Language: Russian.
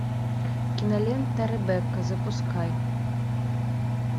кинолента ребекка запускай